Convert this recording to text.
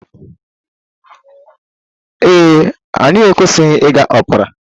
Ee e, anyị ekwesịghị ịga opera.